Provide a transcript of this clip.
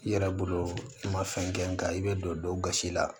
I yɛrɛ bolo i ma fɛn kɛ nga i be don don gasi la